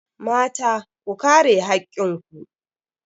Mata, ku kare hakkin ku.